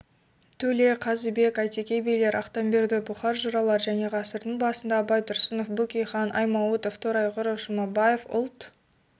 төле қазыбек әйтеке билер ақтамберді бұқар жыраулар және ғасырдың басындағы байтұрсынов бөкейхан аймауытов торайғыров жұмабаев ұлт